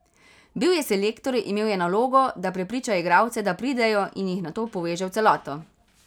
Bil je selektor, imel je nalogo, da prepriča igralce, da pridejo in jih nato poveže v celoto.